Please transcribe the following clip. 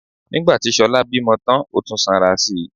Nígbà tí Ṣọlá bímọ tán ó tún sanra si